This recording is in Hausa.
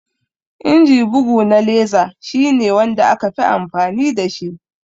Inji bugu na laser shi ne wanda aka fi amfani dashi